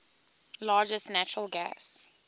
largest natural gas